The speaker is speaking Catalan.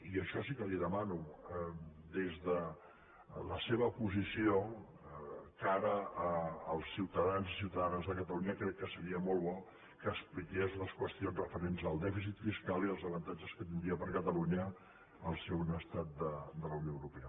i això sí que li demano des de la seva posició cara als ciutadans i ciutadanes de catalunya crec que seria molt bo que expliqués les qüestions referents al dèficit fiscal i els avantatges que tindria per a catalunya ser un estat de la unió europea